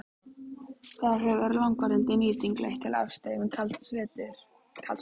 Þar hefur langvarandi nýting leitt til aðstreymis kalds vatns.